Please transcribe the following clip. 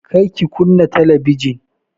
Kar ki kunna talabijin!